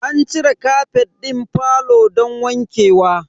An cire kafet din falo don wanke wa.